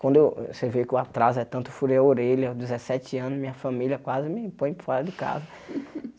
Quando eu você vê que o atraso é tanto furei a orelha, aos dezesete anos, minha família quase me põe fora de casa.